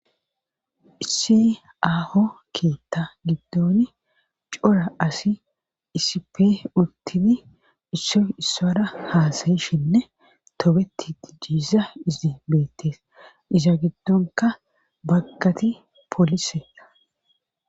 issi aho keetta giddon cora asi isipe urtiti isso issora haasayishinne tobeti dijjisa izi beettees iza giddonka baggati polise